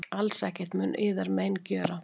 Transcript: Alls ekkert mun yður mein gjöra.